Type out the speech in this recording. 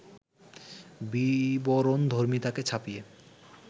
বিবরণধর্মিতাকে ছাপিয়ে